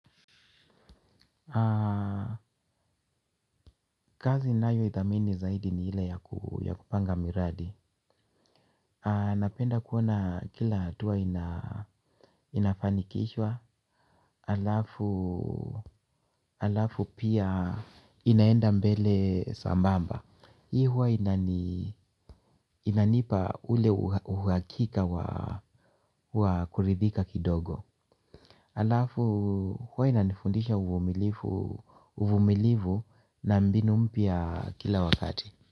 Kazi nayoithamini zaidi ni ile ya kupanga miradi. Napenda kuona kila hatua inafanikishwa halafu pia inaenda mbele sambamba. Hii huwa inanipa ule uhakika wa kuridhika kidogo halafu huwa inanifundisha uvumilivu na mbinu mpya kila wakati.